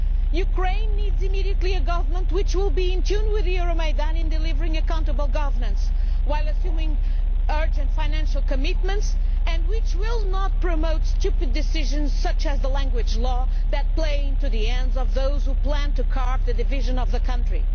Ukraine needs, immediately, a government which will be in tune with the Euromaidan in delivering accountable governance while assuming urgent financial commitments, and one which will not promote stupid decisions such as the language law, playing into the hands of those who plan the division of the country.